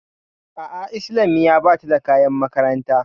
A'a islamiya bata da kayan makaranta